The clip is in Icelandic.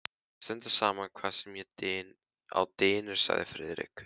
Við stöndum saman hvað sem á dynur sagði Friðrik.